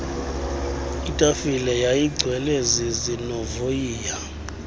itafile yayigcwele zizinovoyiya